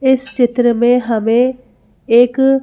इस चित्र में हमें एक--